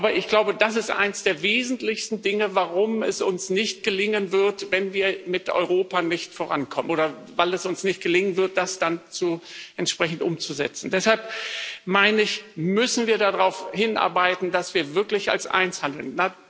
Aber ich glaube, das ist eines der wesentlichsten Dinge, warum es uns nicht gelingen wird, sollten wir mit Europa nicht vorankommen, oder warum es uns nicht gelingen wird, das dann entsprechend umzusetzen. Deshalb meine ich, müssen wir darauf hinarbeiten, dass wir wirklich als eins handeln.